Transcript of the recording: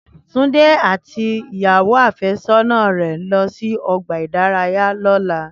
Túnjí àti ìyàwó àfẹ́sọ́nà rẹ̀ ń lọ sí ọgbà ìdárayá lọ́la